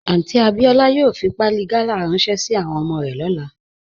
Aunty Abiola yòò fí pàálì gàlà ránṣẹ̀ sí àwọn ọmọ rẹ̀ lọ́lá